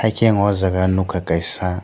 hingke ang o jaga nigkha kaisa.